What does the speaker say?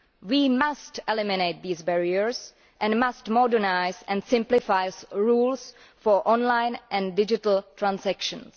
We must eliminate these barriers and we must modernise and simplify rules for online and digital transactions.